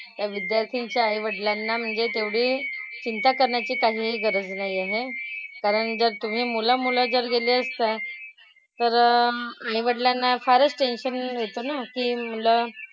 त्या विद्यार्थ्यांच्या आईवडिलांना म्हणजे तेवढी चिंता करण्याची काहीही गरज नाही आहे. कारण जर तुम्ही मुलं मुलं जर गेले असता तर आईवडिलांना फारच टेन्शन येतं ना की मुलं,